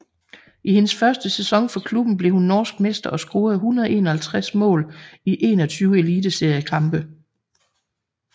I hendes første sæson for klubben blev hun norsk mester og scorede 151 mål i 21 Eliteseriekampe